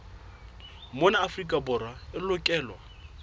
mona afrika borwa e lokelwa